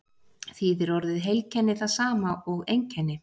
Þýðir orðið heilkenni það sama og einkenni?